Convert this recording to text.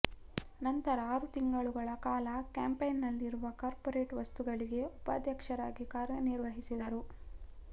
ನಂತರ ಆರು ತಿಂಗಳುಗಳ ಕಾಲ ಕಾಂಪ್ಯಾಕಿನಲ್ಲಿರುವ ಕಾರ್ಪೊರೇಟ್ ವಸ್ತುಗಳಿಗೆ ಉಪಾಧ್ಯಕ್ಷರಾಗಿ ಕಾರ್ಯನಿರ್ವಹಿಸಿದರು